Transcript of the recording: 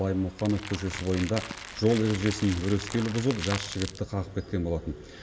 баймұханов көшесі бойында жол ережесін өрескел бұзып жас жігітті қағып кеткен болатын